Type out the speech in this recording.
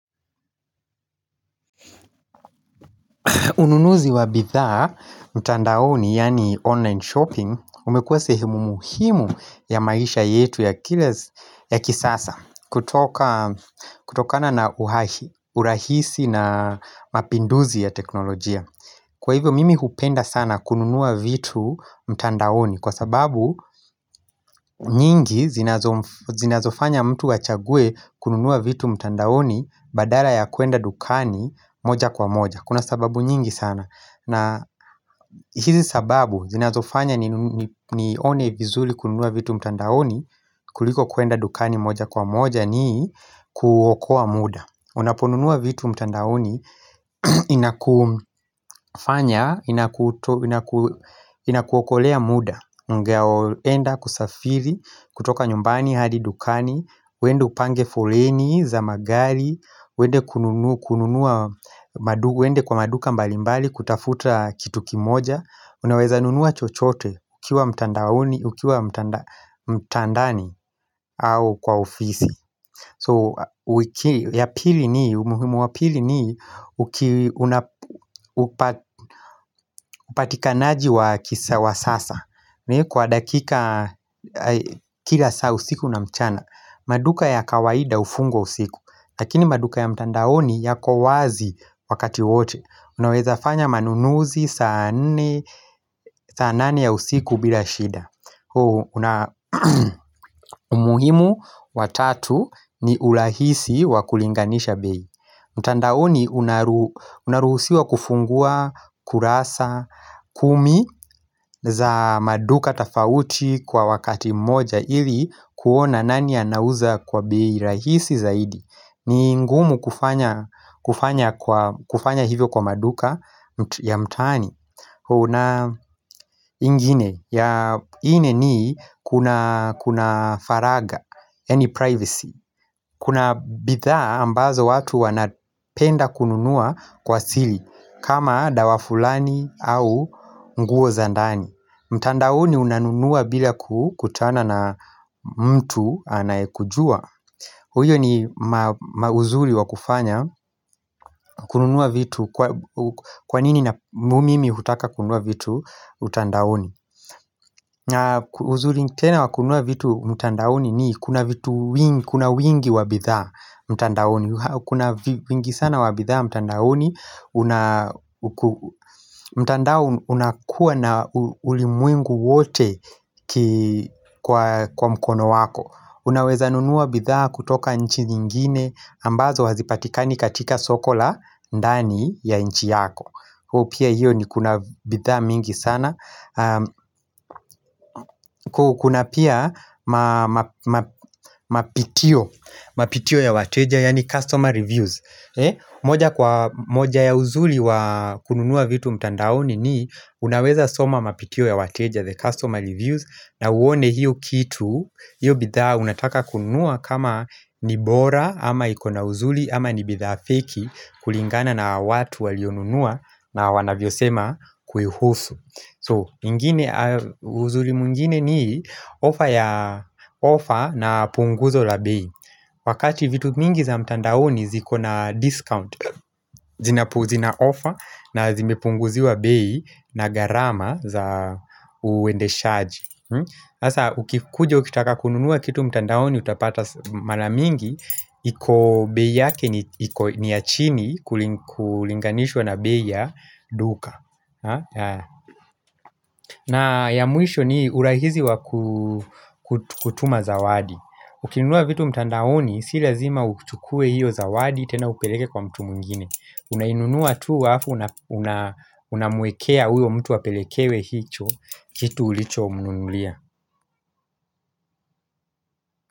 Ununuzi wa bidhaa, mtandaoni, yaani online shopping, umekuwa sehemu muhimu ya maisha yetu ya kisasa kutokana na urahisi na mapinduzi ya teknolojia. Kwa hivyo mimi hupenda sana kununua vitu mtandaoni kwa sababu nyingi zinazofanya mtu achague kununua vitu mtandaoni badala ya kuenda dukani moja kwa moja. Kuna sababu nyingi sana na hizi sababu zinazofanya nione vizuri kununua vitu mtandaoni kuliko kuenda dukani moja kwa moja ni kuokoa muda Unaponunua vitu mtandaoni Inakufanya Inakuokolea muda ungeopenda kusafiri kutoka nyumbani hadi dukani uende upange foleni za magari uende kununua uende kwa maduka mbalimbali kutafuta kitu kimoja Unaweza nunua chochote ukiwa mtandaoni ukiwa mtandani au kwa ofisi So ya pili ni umuhimu wa pili ni upatikanaji wa kisa wa sasa Kwa dakika kila saa usiku na mchana maduka ya kawaida hufungwa usiku Lakini maduka ya mtandaoni yako wazi wakati wote Unaweza fanya manunuzi saa nane ya usiku bila shida na umuhimu wa tatu ni urahisi wa kulinganisha bei mtandaoni unaruhusiwa kufungua kurasa kumi za maduka tofauti kwa wakati mmoja Ili kuona nani anauza kwa bei rahisi zaidi. Ni ngumu kufanya hivyo kwa maduka ya mtaani Kuna ingine ya Kuna faragha yaani privacy Kuna bidhaa ambazo watu wanapenda kununua Kwa siri kama dawa fulani au nguo za ndani mtandaoni unanunua bila kukutana na mtu anyekujua huyo ni uzuri wa kufanya kununua vitu Kwa nini na mimi hutaka kununua vitu mtandaoni na uzuri tena wa kunua vitu mtandaoni ni Kuna vitu wingi, kuna wingi wa bidhaa mtandaoni Kuna wingi sana wa bidhaa mtandaoni mtandao unakuwa na ulimwengu wote kwa mkono wako Unaweza nunua bidhaa kutoka nchi nyingine ambazo hazipatikani katika soko la ndani ya nchi yako hiyo pia hiyo ni kuna bidhaa mingi sana Kuna pia mapitio ya wateja, yaani customer reviews moja kwa moja ya uzuri wa kununua vitu mtandaoni ni Unaweza soma mapitio ya wateja, the customer reviews na uone hiyo kitu, hiyo bidhaa unataka kununua kama ni bora ama iko na uzuri, ama ni bidhaa fake kulingana na watu walionunua na wanavyosema kuihusu So ingine uzuri mwingine ni offer na punguzo la bei Wakati vitu mingi za mtandaoni ziko na discount zina offer na zimepunguziwa bei na gharama za uendeshaji Hasa ukikuja ukitaka kununua kitu mtandaoni utapata mara mingi iko bei ya yake ni ya chini kulinganishwa na bei ya duka na ya mwisho ni urahisi wa kutuma zawadi Ukinunua vitu mtandaoni si lazima uchukue hiyo zawadi tena upeleke kwa mtu mwingine Unainunua tu alafu unamwekea huyo mtu apelekewe hicho kitu ulicho mnunulia.